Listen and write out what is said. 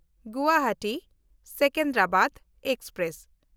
ᱜᱩᱣᱟᱦᱟᱴᱤ–ᱥᱮᱠᱮᱱᱫᱨᱟᱵᱟᱫᱽ express